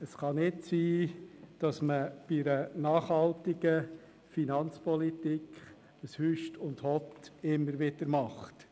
Es kann nicht sein, dass man bei einer nachhaltigen Finanzpolitik immer wieder hüst und hott macht.